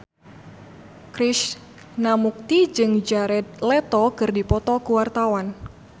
Krishna Mukti jeung Jared Leto keur dipoto ku wartawan